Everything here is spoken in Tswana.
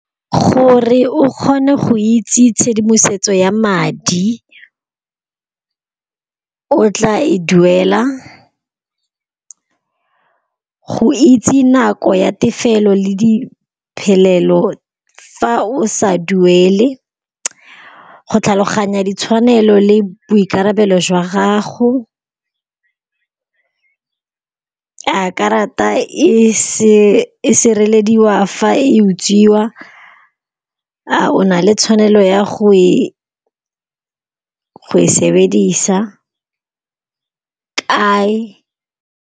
Gore o kgone go itse tshedimosetso ya madi, o tla e duela go itse nako ya tefelo le diphelelo fa o sa duele. Go tlhaloganya ditshwanelo le boikarabelo jwa gago, a karata e sirelediwa fa e utswiwa. A o na le tshwanelo ya go e sebedisa kae.